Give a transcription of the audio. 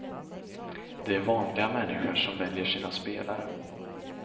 Det är vanliga människor som väljer sin spelare.